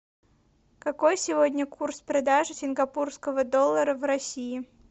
какой сегодня курс продажи сингапурского доллара в россии